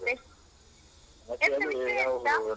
ಮತ್ತೆ ಎಂತ ವಿಷಯ ಗೊತ್ತಾ?